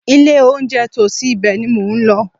Ilé-olóunjẹ tòsí ibẹ̀ ni mò ń lọ.